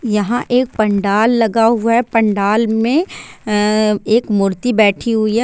यहाँ एक पंडाल लगा हूआ है| पंडाल मे एक मूर्ति बैठी हुई है।